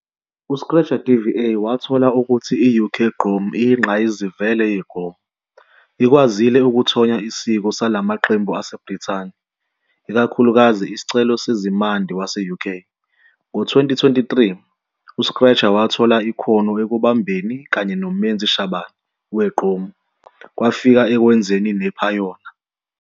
U-Scratcha DVA wathola ukuthi i-UK Gqom iyinqayizivele ye-gqom, ikwazile ukuthonya isiko salamaqembu aseBrithani, ikakhulukazi isicelo sezimandi wase-UK. Ngo-2023, uScratcha wathola ikhono ekubambeni kanye noMenzi Shabane we-Igom, kwafika ekwenzeni nephayona.